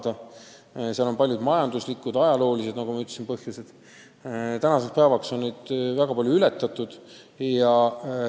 Nagu ma ütlesin, on sellel palju majanduslikke ja ajaloolisi põhjuseid, aga tänaseks päevaks on väga paljud takistused ületatud.